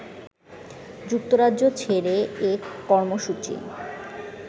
যুক্তরাজ্য ছেড়ে এ কর্মসূচি